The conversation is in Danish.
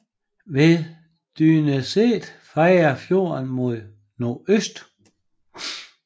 Ved Dyrneset drejer fjorden mod nordøst